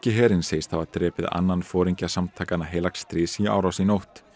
herinn segist hafa drepið annan foringja samtakanna heilags stríðs í árás í nótt